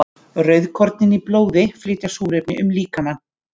Rauðkornin í blóði flytja súrefni um líkamann.